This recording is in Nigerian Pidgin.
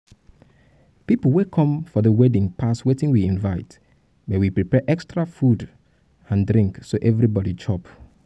people wey come for the wedding pass wetin we invite um but we prepare extra food and and um drink so everybody chop um